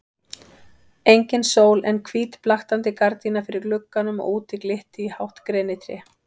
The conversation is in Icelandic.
Engin sól en hvít blaktandi gardína fyrir glugganum og úti glitti í hátt grenitré.